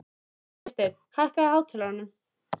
Vésteinn, hækkaðu í hátalaranum.